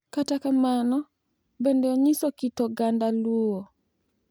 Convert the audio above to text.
Kata kamano, bende onyiso kit oganda Luo.